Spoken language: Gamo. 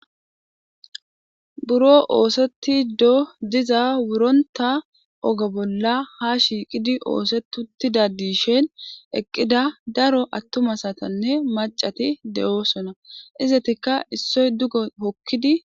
buro ooseti do diza wuronta oga bolla ha shiiqidi oosetutida diishen eqqida daro attuma satanne maccati de7oosona izetikka issoy dugo hokkidi.